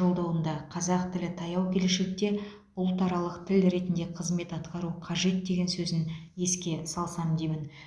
жолдауында қазақ тілі таяу келешекте ұлтаралық тіл ретінде қызмет атқару қажет деген сөзін еске салсам деймін